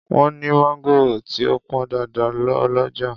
Wọ́n ní mangoro tí ó pọn dáadáa ọlọ́jà.